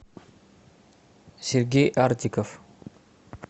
сергей артиков